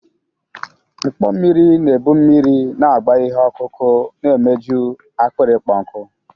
Mkpọ mmiri na-ebu mmiri na-agba ihe ọkụkụ na-emeju akpịrị ịkpọ nkụ.